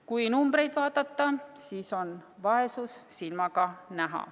Kui numbreid vaadata, siis on vaesus silmaga näha.